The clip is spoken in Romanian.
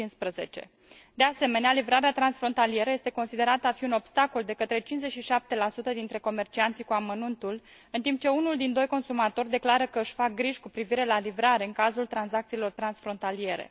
2015. De asemenea, livrarea transfrontalieră este considerată a fi un obstacol de către 57 dintre comercianții cu amănuntul, în timp ce unul din doi consumatori declară că își face griji cu privire la livrare în cazul tranzacțiilor transfrontaliere.